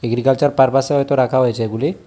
Agriculture পারপাসে হয়তো রাখা হয়েছে এগুলি।